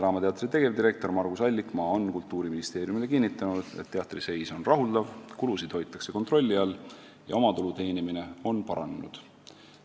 " Vene Teatri tegevdirektor Margus Allikmaa on Kultuuriministeeriumile kinnitanud, et teatri seis on rahuldav, kulusid hoitakse kontrolli all ja omatulu teenimine on paranenud.